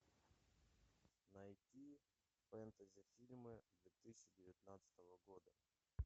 найти фэнтези фильмы две тысячи девятнадцатого года